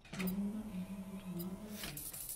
Ang�o ma en root ma 9?